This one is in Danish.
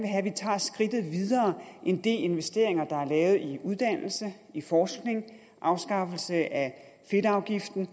have at vi tager skridtet videre end de investeringer der er foretaget i uddannelse i forskning i afskaffelse af fedtafgiften